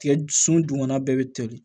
Tigɛ sun dugumana bɛɛ bɛ toli